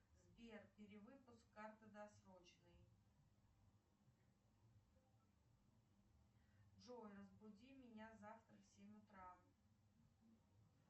сбер перевыпуск карты досрочный джой разбуди меня завтра в семь утра